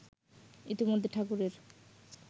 ইতিমধ্যে ঠাকুরের